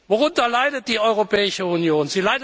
Worunter leidet die Europäische Union?